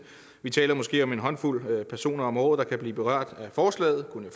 vi taler måske om en håndfuld personer om året der kan blive berørt af forslaget kunne